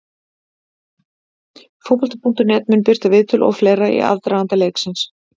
Fótbolti.net mun birta viðtöl og fleira í aðdraganda leiksins.